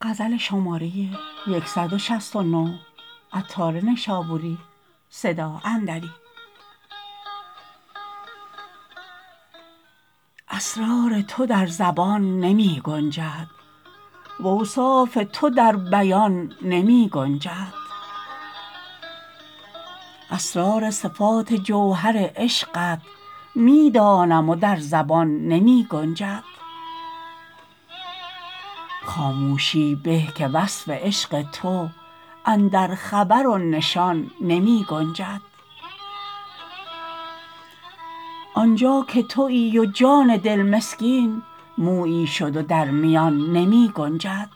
اسرار تو در زبان نمی گنجد واوصاف تو در بیان نمی گنجد اسرار صفات جوهر عشقت می دانم و در زبان نمی گنجد خاموشی به که وصف عشق تو اندر خبر و نشان نمی گنجد آنجا که تویی و جان دل مسکین مویی شد و در میان نمی گنجد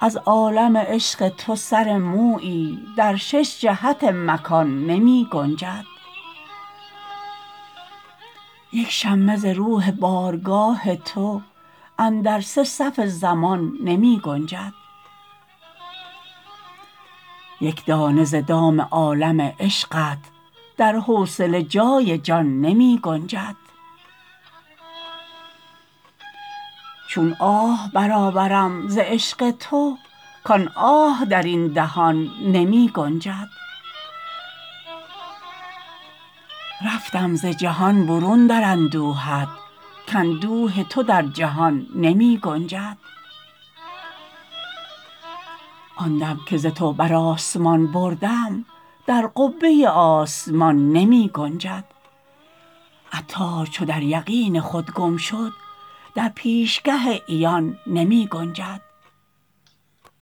از عالم عشق تو سر مویی در شش جهت مکان نمی گنجد یک شمه ز روح بارگاه تو اندر سه صف زمان نمی گنجد یک دانه ز دام عالم عشقت در حوصله جای جان نمی گنجد چون آه برآورم ز عشق تو کان آه درین دهان نمی گنجد رفتم ز جهان برون در اندوهت کاندوه تو در جهان نمی گنجد آن دم که ز تو بر آسمان بردم در قبه آسمان نمی گنجد عطار چو در یقین خود گم شد در پیشگه عیان نمی گنجد